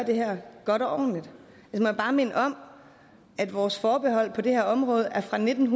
det her godt og ordentligt jeg må bare minde om at vores forbehold på det her område er fra nitten